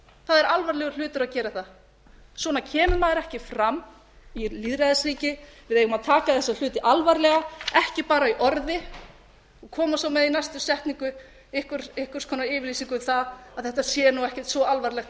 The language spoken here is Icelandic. það er alvarlegur hlutur að gera það svona kemur maður ekki fram í lýðræðisríki við eigum að taka þessa hluti alvarlega ekki bara í orði og koma svo með í næstu setningu einhvers konar yfirlýsingu um að þetta sé nú ekkert svo alvarlegt